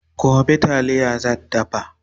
gobe taliya zan dafa da daddawa